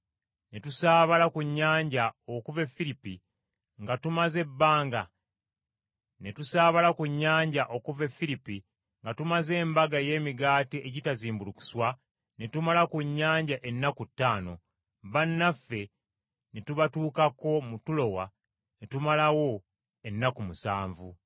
Ne tusaabala ku nnyanja okuva e Firipi nga tumaze embaga ey’Emigaati Egitazimbulukuswa, ne tumala ku nnyanja ennaku ttaano, bannaffe ne tubatuukako mu Tulowa ne tumalawo ennaku musanvu.